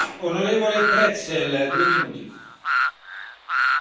Herr Präsident, Herr Kommissar, meine Damen und Herren Kollegen!